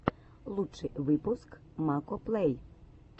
лучший выпуск макоплэй